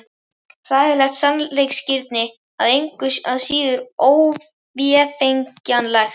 Hræðilegt sannleiksgildi, en engu að síður óvéfengjanlegt.